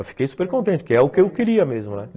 Eu fiquei super contente, porque é o que eu queria mesmo né.